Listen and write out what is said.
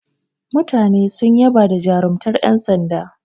Mutane sun yaba da jarumtar yan sanda.